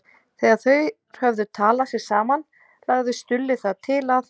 Þegar þeir höfðu talað sig saman lagði Stulli það til að